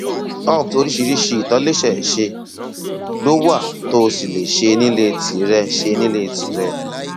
upt oríṣiríṣi ìtòlẹsẹẹsẹ ló wà tó o sì lè ṣe nílé tìrẹ ṣe nílé tìrẹ